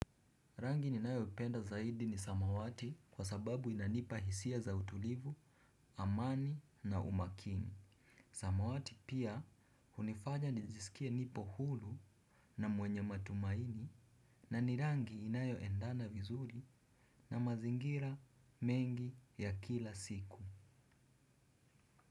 Rangi ninayo penda zaidi ni samawati kwa sababu inanipa hisia za utulivu, amani na umaakini. Samawati pia hunifanya nijisikie nipo huru na mwenye matumaini na ni rangi inayoendana vizuri na mazingira mengi ya kila siku.